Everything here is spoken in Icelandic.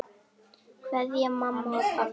Kveðja mamma og pabbi.